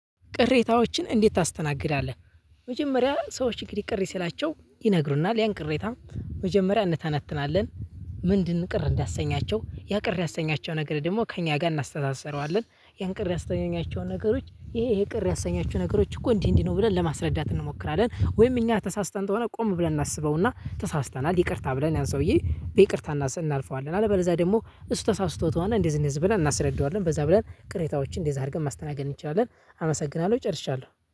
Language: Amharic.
ቅሬታዎችን እንዴት ታስተናግዳለህ? መጀመሪያ ሰዎች እንግዲህ ቅር ሲላቸው ይነግሩናል ያን ቅሬታ መጀመሪያ እንተናትናለን። ምንድን ቅር እንዳሰኛቸው ያ ቅር ያሰኛቸው ነገር ደግሞ ከእኛ ጋር እናስተሳስረዋለን ያን ቅር ያሰኛቸውን ነገሮች ይሄ ይሄ ቅር ያሰኛቸው ነገሮች እኮ እንዲህ እንዲህ ነው ብለን ለማስረዳት እንሞክራለን። ወይም እኛ ተሳስተን ከሆነ ቆም ብለን እናስበውና ተሳስተናል ይቅርታ ብለን ያን ሰውዬ በይቅርታ እናስብ እናልፈዋለን። አለበለዛ ደግሞ እሱ ተሳስቶ ተሆነ እንደዚህ እንደዚህ ብለን እናስረዳዋለን። በዛ ብለን ቅሬታዎችን እንደዚህ አድርገን ማስተናገድ እንችላለን። አመሰግናለሁ ጨርሻለሁ።